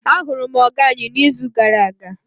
ahuru m oga anyi n'izu gara aga